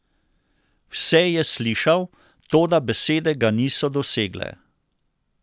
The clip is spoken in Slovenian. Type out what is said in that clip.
Vse je slišal, toda besede ga niso dosegle.